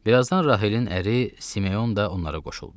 Bir azdan Raxilin əri Simeon da onlara qoşuldu.